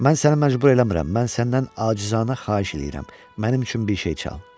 Mən səni məcbur eləmirəm, mən səndən acizanə xahiş eləyirəm, mənim üçün bir şey çal.